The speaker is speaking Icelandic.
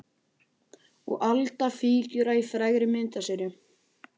Og Alda fígúra í frægri myndaseríu.